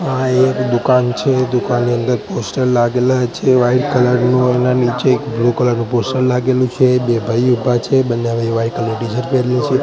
આ એક દુકાન છે દુકાનની અંદર પોસ્ટર લાગેલા છે વ્હાઈટ કલર નું અને નીચે એક બ્લુ કલર નું પોસ્ટર લાગેલું છે બે ભાઈ ઊભા છે બંને ભાઈએ વાઈટ કલર ની ટી_શર્ટ પહેરેલી છે.